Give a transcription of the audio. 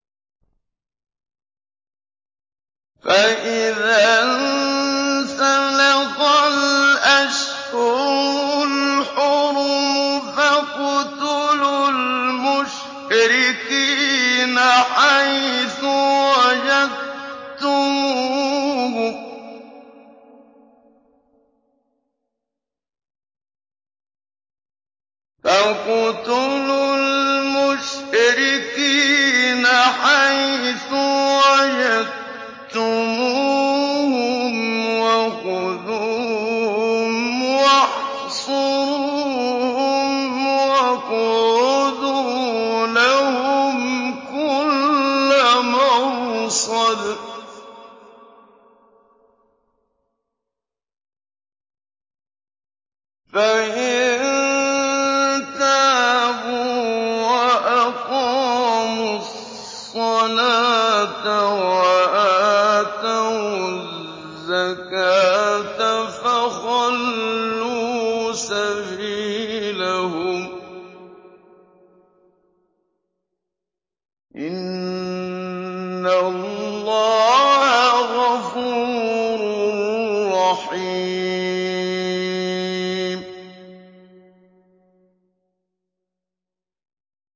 فَإِذَا انسَلَخَ الْأَشْهُرُ الْحُرُمُ فَاقْتُلُوا الْمُشْرِكِينَ حَيْثُ وَجَدتُّمُوهُمْ وَخُذُوهُمْ وَاحْصُرُوهُمْ وَاقْعُدُوا لَهُمْ كُلَّ مَرْصَدٍ ۚ فَإِن تَابُوا وَأَقَامُوا الصَّلَاةَ وَآتَوُا الزَّكَاةَ فَخَلُّوا سَبِيلَهُمْ ۚ إِنَّ اللَّهَ غَفُورٌ رَّحِيمٌ